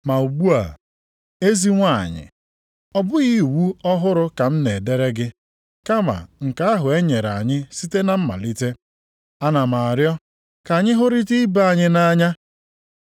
Ma ugbu a, ezi nwanyị, ọ bụghị iwu ọhụrụ ka m na-edere gị kama nke ahụ e nyere anyị site na mmalite. Ana m arịọ ka anyị hụrịta ibe anyị nʼanya.